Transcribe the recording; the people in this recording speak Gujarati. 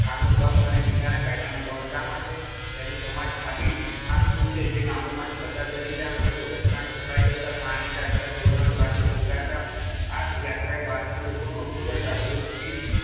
કાનૂનભંગ અને મીઠ શા માટે તેની સમજ આપી આ શું છે જે ગામોમાંથી પસાર થતી ત્યાં લોકો રસ્તાની સફાઈ કરતા પાણી કાઢતા તોરણ બાંધણી સંગાથ આ યાત્રા ભારતમાં લોકોનું અપૂર્વ જાગૃતિ,